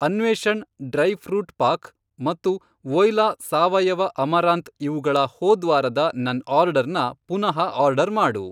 ಅನ್ವೇಷಣ್ dry fruit pack ಮತ್ತು Voila ಸಾವಯವ amaranth ಇವುಗಳ ಹೋದ್ವಾರದ ನನ್ ಆರ್ಡರ್ನ ಪುನಃ ಆರ್ಡರ್ ಮಾಡು.